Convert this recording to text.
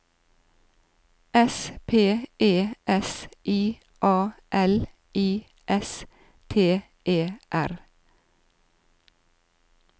S P E S I A L I S T E R